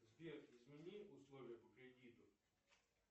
сбер измени условия по кредиту